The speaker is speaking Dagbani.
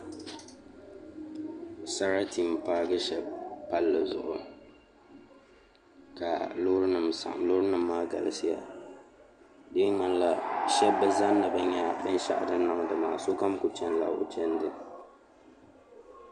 Sarati n paagi shab palli zuɣu ka loori nim saɣam loori nim maa galisiya di mii ŋmanila shab bi zani ni bi nyɛ binshaɣu din niŋdi maa sokam ku chɛnila o chɛndi